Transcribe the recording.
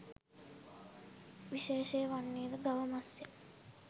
විශේෂය වන්නේද ගව මස්ය